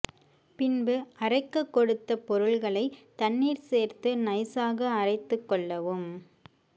பின்பு அரைக்க கொடுத்த பொருள்களை தண்ணீர் சேர்த்து நைசாக அரைத்து கொள்ளவும்